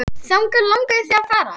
Þangað langaði þig að fara.